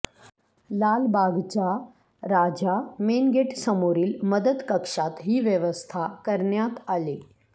लालबागचा राजा मेनगेट समोरील मदत कक्षात ही व्यवस्था करण्यात आली